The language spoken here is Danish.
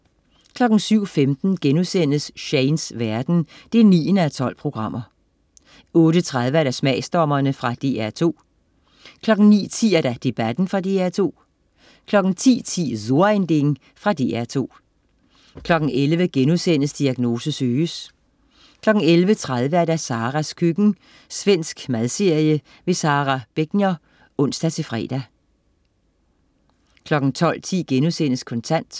07.15 Shanes verden 9:12* 08.30 Smagsdommerne. Fra DR2 09.10 Debatten. Fra DR2 10.10 So ein Ding. Fra DR2 11.00 Diagnose Søges* 11.30 Saras køkken. Svensk madserie. Sara Begner (ons-fre) 12.10 Kontant*